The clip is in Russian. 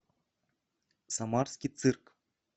самарский цирк